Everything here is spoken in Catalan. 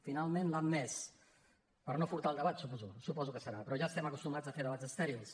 finalment l’ha admès per no furtar el debat suposo que deu ser però ja estem acostumats a fer debats estèrils